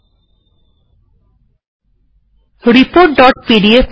LaTeX file এ যাওয়া যাক রিপোর্ট ডট pdf